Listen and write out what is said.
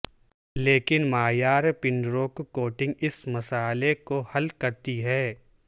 لیکن معیار پنروک کوٹنگ اس مسئلہ کو حل کرتی ہے